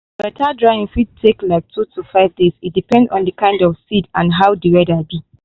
better drying fit take like two to five days e depend on the kind seed and how the weather be.